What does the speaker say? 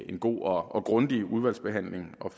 en god og grundig udvalgsbehandling og